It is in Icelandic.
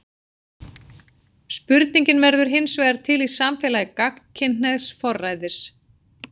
Spurningin verður hinsvegar til í samfélagi gagnkynhneigðs forræðis.